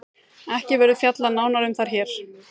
Ekki verður fjallað nánar um þær hér.